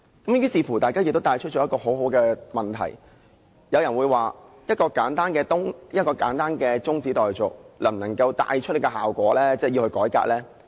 於是，大家亦提出很好的問題，譬如有人問，一項簡單的中止待續議案，能否帶出這個效果，能夠真正帶來改革呢？